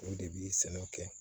O de bi sɛnɛ kɛ